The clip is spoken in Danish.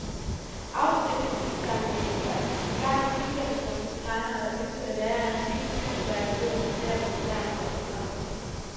Afstøbningssamlingen var engang pilgrimsmål for tegnere, der ønskede at lære af antikkens mesterværker ved at studere dem på nært hold.